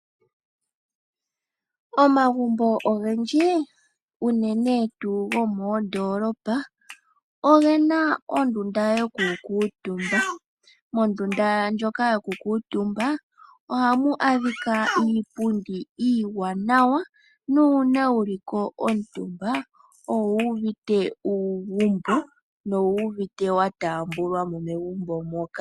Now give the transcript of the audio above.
Omagumbo ogendji unene tuu gomoodoolopa ogena ondunda yoku kuutumba. Momlndunda ndjoka yoku kuutumba ohamu adhika iipundi iiwanawa nuuna wuli ko omutumba owuuvite uugumbo nowu uvite wataambwa mo megumbo moka.